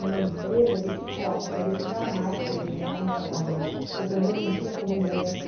numa empresa desse porte, quer dizer, jamais tinha pensado em trabalhar, ou pelo menos não tinha como meta.